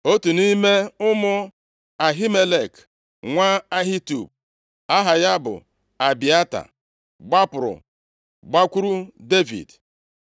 Otu nʼime ụmụ Ahimelek nwa Ahitub, aha ya bụ Abịata gbapụrụ, gbakwuru Devid.